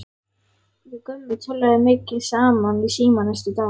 Við Gummi töluðum mikið saman í síma næstu daga.